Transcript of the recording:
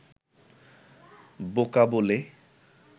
বোকা বলে